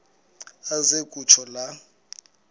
aze kutsho la